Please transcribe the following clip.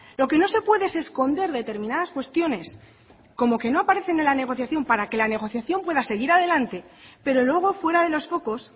lo que no se puede es esconder determinadas cuestiones como que no aparecen en la negociación para que la negociación pueda seguir adelante pero luego fuera de los focos